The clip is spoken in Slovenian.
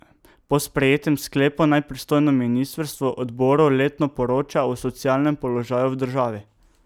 Po sprejetem sklepu naj pristojno ministrstvo odboru letno poroča o socialnem položaju v državi.